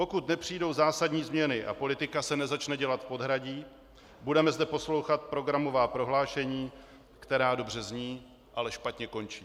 Pokud nepřijdou zásadní změny a politika se nezačne dělat v podhradí, budeme zde poslouchat programová prohlášení, která dobře zní, ale špatně končí.